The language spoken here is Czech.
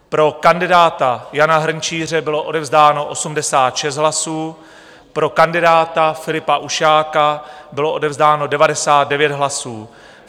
Pro kandidáta Jana Hrnčíře bylo odevzdáno 86 hlasů, pro kandidáta Filipa Ušáka bylo odevzdáno 99 hlasů.